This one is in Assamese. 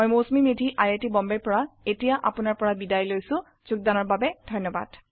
মই Mousumi Medhi I I T বম্বেৰ পৰা এতিয়া আপুনাৰ পৰা বিদায় লৈছো যোগদানৰ বাবে ধন্যবাদ